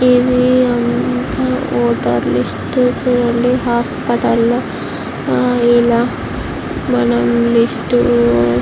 ఇది అంతా voter list చూడండి హాస్పిటల్ లో ఇలా మనం లిస్ట్ --